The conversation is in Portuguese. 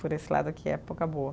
Por esse lado aqui, época boa.